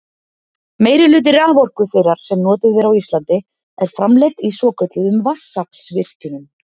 meirihluti raforku þeirrar sem notuð er á íslandi er framleidd í svokölluðum vatnsaflsvirkjunum